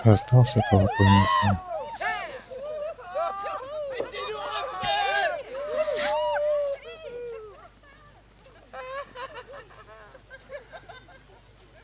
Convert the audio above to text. раздавался колокольный звон